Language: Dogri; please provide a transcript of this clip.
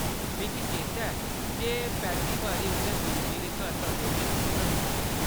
मिगी चेता ऐ जे पैह्‌ली बारी उʼन्नै गुरु जी दे घर तबले च रुचि दस्सी ही।